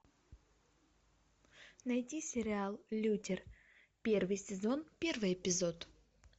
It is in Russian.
найди сериал лютер первый сезон первый эпизод